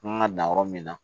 Kan ka dan yɔrɔ min na